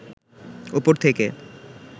ওপর থেকে